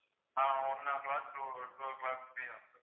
ah one o' clock to two o' clock free தான் sir